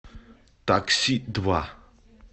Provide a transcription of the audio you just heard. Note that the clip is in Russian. такси два